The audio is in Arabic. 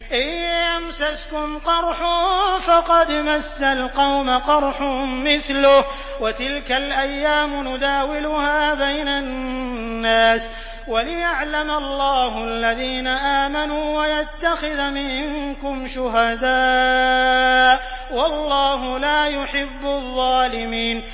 إِن يَمْسَسْكُمْ قَرْحٌ فَقَدْ مَسَّ الْقَوْمَ قَرْحٌ مِّثْلُهُ ۚ وَتِلْكَ الْأَيَّامُ نُدَاوِلُهَا بَيْنَ النَّاسِ وَلِيَعْلَمَ اللَّهُ الَّذِينَ آمَنُوا وَيَتَّخِذَ مِنكُمْ شُهَدَاءَ ۗ وَاللَّهُ لَا يُحِبُّ الظَّالِمِينَ